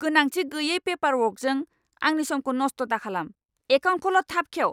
गोनांथि गैयै पेपारवर्कजों आंनि समखौ नस्थ दाखालाम। एकाउन्टखौल' थाब खेव!